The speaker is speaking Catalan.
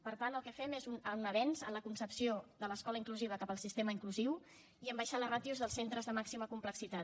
per tant el que fem és un avenç en la concepció de l’escola inclusiva cap al sistema inclusiu i en abaixar les ràtios dels centres de màxima complexitat